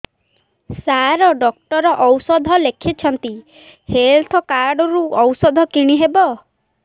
ସାର doctor ଔଷଧ ଲେଖିଛନ୍ତି health card ରୁ ଔଷଧ କିଣି ହେବ